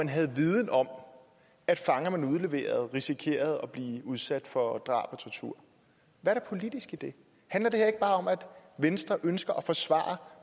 havde viden om at fanger der blev udleveret risikerede at blive udsat for drab og tortur hvad er det politiske i det handler det her ikke bare om at venstre ønsker at forsvare